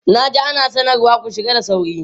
Na ji ana sanarwa "ku shiga da sauri"!